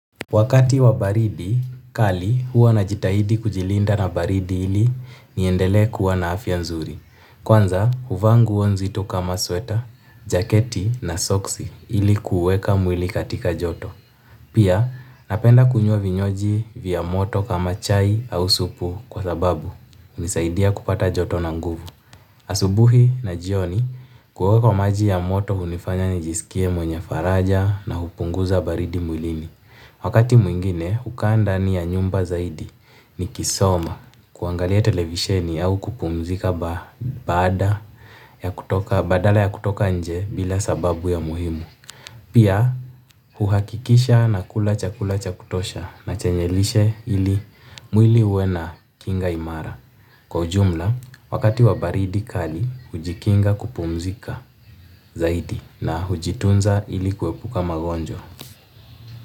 Wakati wa baridi, kali huwa na jitahidi kujilinda na baridi ili niendele kuwa na afya nzuri. Kwanza, huvaa nguo nzito kama sweta, jaketi na soksi ili kuweka mwili katika joto. Pia, napenda kunywa vinywaji vya moto kama chai au supu kwa sababu hunisaidia kupata joto na nguvu. Asubuhi na jioni, kuoga kwa maji ya moto hunifanya nijisikie mwenye faraja na hupunguza baridi mwilini. Wakati mwingine, hukaa ndani ya nyumba zaidi nikisoma kuangalia televisheni au kupumzika badala ya kutoka nje bila sababu ya muhimu. Pia huhakikisha nakula chakula cha kutosha na chenye lishe ili mwili uwe na kinga imara. Kwa ujumla, wakati wa baridi kali, hujikinga kupumzika zaidi na hujitunza ili kuepuka magonjwa.